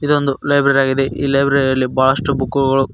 ಇದೊಂದು ಲೈಬ್ರರಿ ಆಗಿದೆ ಈ ಲೈಬ್ರರಿ ಯಲ್ಲಿ ಬಹಳಷ್ಟು ಬುಕುಗಳು--